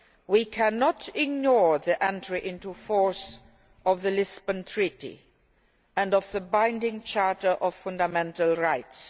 We cannot ignore the entry into force of the Lisbon Treaty and of the binding Charter of Fundamental Rights.